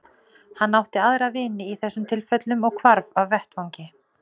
Hann átti aðra vini í þessum tilfellum og hvarf af vettvangi.